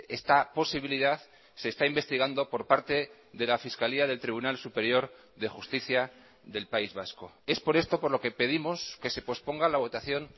esta posibilidad se está investigando por parte de la fiscalía del tribunal superior de justicia del país vasco es por esto por lo que pedimos que se posponga la votación